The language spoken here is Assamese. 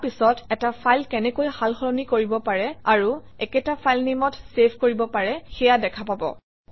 ইয়াৰ পিছত এটা ফাইল কেনেকৈ সালসলনি কৰিব পাৰি আৰু একেটা ফাইলনেমত চেভ কৰিব পাৰি সেয়া দেখা পাব